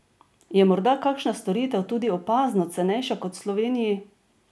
Je morda kakšna storitev tudi opazno cenejša kot v Sloveniji?